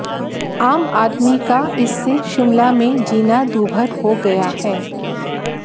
आम आदमी का इससे शिमला में जीना दूभर हो गया है